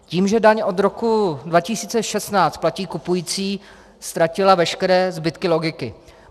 Tím, že daň od roku 2016 platí kupující, ztratila veškeré zbytky logiky.